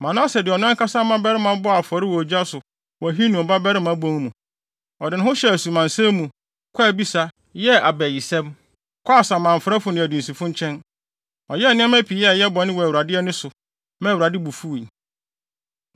Manase de ɔno ankasa mmabarima bɔɔ afɔre wɔ ogya so wɔ Hinom Babarima Bon mu. Ɔde ne ho hyɛɛ asumansɛm mu, kɔɔ abisa, yɛɛ abayisɛm, kɔɔ samanfrɛfo ne adunsifo nkyɛn. Ɔyɛɛ nneɛma pii a ɛyɛ bɔne wɔ Awurade ani so, maa Awurade bo fuwii.